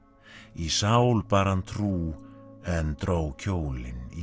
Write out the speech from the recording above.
í sál bar hann trú en dró kjólinn í